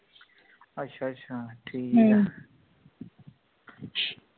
ਅੱਛਾ ਅੱਛਾ ਠੀਕ ਆ